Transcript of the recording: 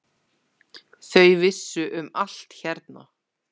Þau vissu um allt hérna.